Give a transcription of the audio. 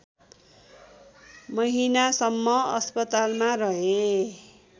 महिनासम्म अस्पतालमा रहे